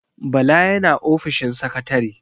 Bala yana ofishin sakatare.